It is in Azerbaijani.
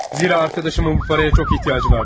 Çünki dostumun bu pula çox ehtiyacı vardı cənab.